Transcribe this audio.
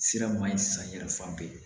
Sira ma ɲi sisan yɛrɛ fan bɛɛ